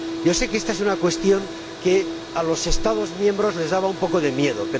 Yo sé que esta es una cuestión que a los Estados miembros les daba un poco de miedo.